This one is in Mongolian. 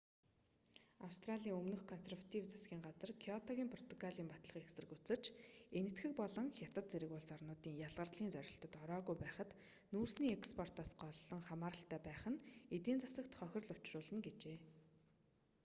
австралийн өмнөх консерватив засгийн газар кёотогийн протоколыг батлахыг эсэргүүцэж энэтхэг болон хятад зэрэг улс орнууд ялгарлын зорилтод ороогүй байхад нүүрсний экспортоос голлон хамааралтай байх нь эдийн засагт хохирол учруулна гэжээ